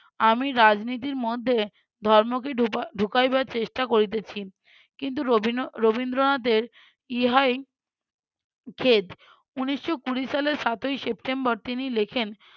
আমি রাজনীতির মধ্যে ধর্ম কি ঢুকাই~ ঢুকাইবার চেষ্টা করিতেছি। কিন্তু রবিন~ রবীন্দ্রনাথের ইহাই জেদ। উনিশশো কুঁড়ি সালের সাতই september তিনি লেখেন